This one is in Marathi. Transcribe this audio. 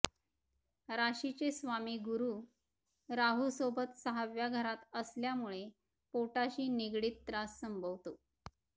राशीचे स्वामी गुरू राहूसोबत सहाव्या घरात असल्यामुळे पोटाशी निगडित त्रास संभवतो